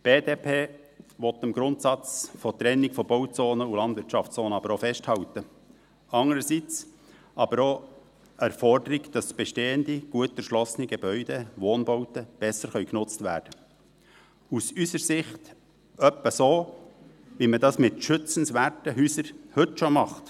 Die BDP will am Grundsatz der Trennung von Bauzonen und Landwirtschaftszonen aber auch festhalten, andererseits sieht sie aber auch das Erfordernis, dass bestehende gut erschlossene Gebäude, Wohnbauten, besser genutzt werden können – aus unserer Sicht etwa so, wie man das mit schützenswerten Häusern heute schon tut.